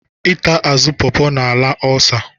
Ịta azụ pọpọ na-ala ọlsa.